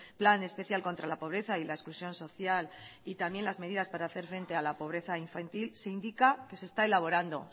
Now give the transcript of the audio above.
plan especial contra la pobreza y la exclusión social y también las medidas para hacer frente a la pobreza infantil se indica que se está elaborando